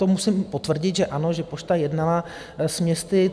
To musím potvrdit, že ano, že Pošta jednala s městy.